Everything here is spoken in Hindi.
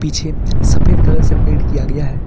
पीछे सफेद कलर से पेंट किया गया है।